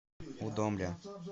удомля